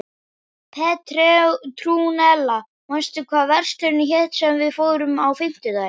Petrúnella, manstu hvað verslunin hét sem við fórum í á fimmtudaginn?